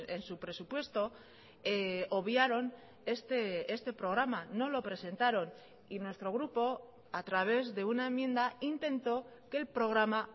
en su presupuesto obviaron este programa no lo presentaron y nuestro grupo a través de una enmienda intentó que el programa